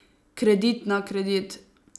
Kredit na kredit.